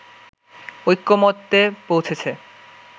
ঐকমত্যে পৌঁছেছে